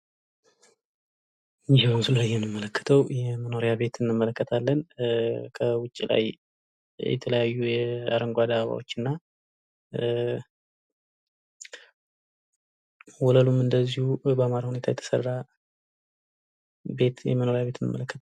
ይህ በምስሉ ላይ የምንመለከተው የመኖሪያ ቤት እንመለከታለን ከውጭ ላይ የተለያዩ አረንጓዴ አበባዎች እና ወለሉም እንደዚሁ ባማረ ሁኔታ የተሰራ ቤት የመኖሪያ ቤት እንመለከታለን ።